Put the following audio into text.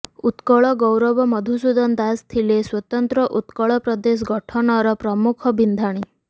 ଉତ୍କଳ ଗୌରବ ମଧୁସୂଦନ ଦାସ ଥିଲେ ସ୍ୱତନ୍ତ୍ର ଉତ୍କଳ ପ୍ରଦେଶ ଗଠନର ପ୍ରମୁଖ ବିନ୍ଧାଣୀ